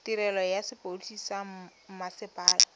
tirelo ya sepodisi sa mmasepala